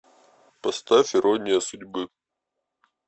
поставь ирония судьбы